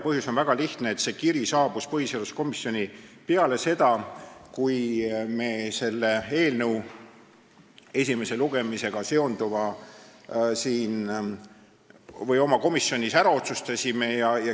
Põhjus on väga lihtne: see kiri saabus põhiseaduskomisjoni pärast seda, kui me olime komisjonis eelnõu esimese lugemise ettevalmistuse lõpetanud ja oma otsuse teinud.